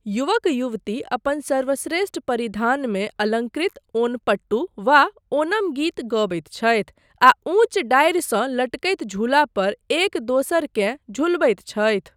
युवक युवती, अपन सर्वश्रेष्ठ परिधानमे अलङ्कृत, ओणपट्टू, वा ओनम गीत गबैत छथि, आ ऊँच डारिसँ लटकैत झूलापर एक दोसरकेँ झुलबैत छथि।